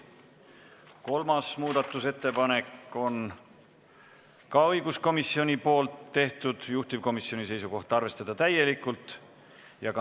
Ka kolmas muudatusettepanek on õiguskomisjonilt ja juhtivkomisjoni seisukoht on arvestada seda täielikult.